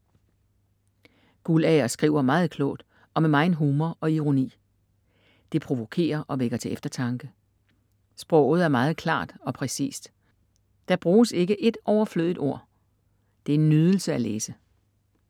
Guldager skriver meget klogt og med megen humor og ironi. Det provokerer og vækker til eftertanke. Sproget er meget klart og præcist. Der bruges ikke et overflødigt ord. Det er en nydelse at læse.